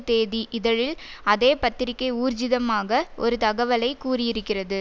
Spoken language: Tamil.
தேதி இதழில் அதே பத்திரிகை ஊர்ஜிதமாக ஒரு தகவலை கூறியிருக்கிறது